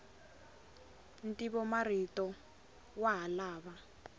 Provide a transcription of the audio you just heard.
ntivomarito wa ha lava